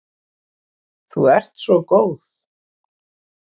Þú ert svo góð.